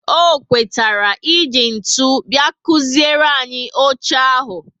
O kwetara e ji ntụ bia kuziere anyị oche ahụ